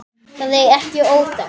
Það er ekki óþekkt.